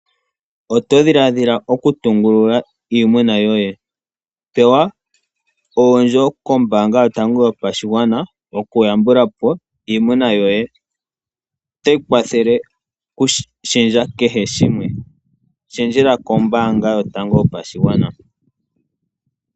Oto dhilaadhila okutungulula iimuna yoye, pewa oondjo kombaanga yotango yopashigwana dhoku yambula po iimuna yoye, yo otayi kwathele okushendja kehe shimwe, onkee shendjela kombaanga yotango yopashigwana.